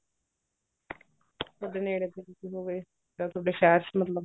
ਯਾਰ ਤੁਹਾਡੇ ਸ਼ਹਿਰ ਚ ਮਤਲਬ